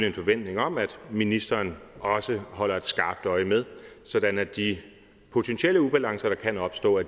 en forventning om at ministeren også holder et skarpt øje med sådan at de potentielle ubalancer der kan opstå